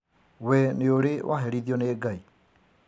We nĩurĩ waherithio nĩ Ngai?